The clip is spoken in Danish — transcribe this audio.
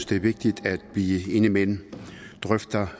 det er vigtigt at vi indimellem drøfter